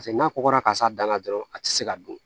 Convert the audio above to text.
Paseke n'a kɔkɔra ka s'a danna dɔrɔn a tɛ se ka dun